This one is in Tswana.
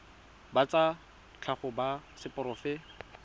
ba tsa tlhago ba seporofe